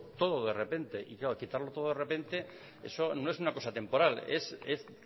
todo de repente y claro quitarlo todo de repente eso no es una cosa temporal es